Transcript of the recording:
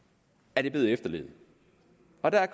er blevet efterlevet